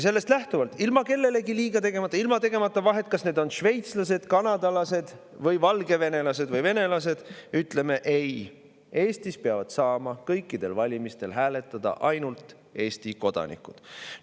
Sellest lähtuvalt, ilma kellelegi liiga tegemata, ilma tegemata vahet, kas need on šveitslased, kanadalased, valgevenelased või venelased, ütleme ei: Eestis peavad saama kõikidel valimistel hääletada ainult Eesti kodanikud.